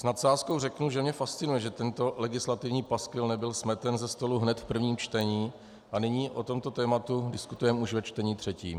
S nadsázkou řeknu, že mě fascinuje, že tento legislativní paskvil nebyl smeten ze stolu hned v prvním čtení a nyní o tomto tématu diskutujeme už ve čtení třetím.